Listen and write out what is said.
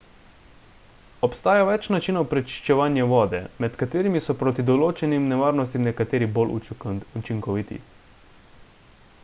obstaja več načinov prečiščevanja vode med katerimi so proti določenim nevarnostim nekateri bolj učinkoviti